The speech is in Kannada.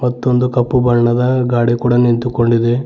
ಇದೊಂದು ಕಪ್ಪು ಬಣ್ಣದ ಗಾಡಿ ಕೂಡ ನಿಂತುಕೊಂಡಿದೆ.